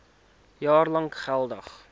jaar lank geldig